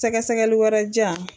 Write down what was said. Sɛgɛsɛgɛli wɛrɛ di yan.